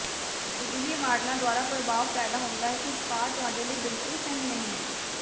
ਅਜਿਹੇ ਮਾਡਲਾਂ ਦੁਆਰਾ ਪ੍ਰਭਾਵ ਪੈਦਾ ਹੁੰਦਾ ਹੈ ਕਿ ਉਤਪਾਦ ਤੁਹਾਡੇ ਲਈ ਬਿਲਕੁਲ ਸਹੀ ਨਹੀਂ ਹੈ